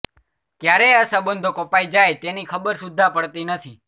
ક્યારે આ સંબંધો કપાઈ જાય તેની ખબર સુધ્ધા પડતી નથી